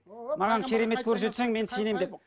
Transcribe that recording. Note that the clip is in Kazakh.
маған керемет көрсетсең мен сенемін деп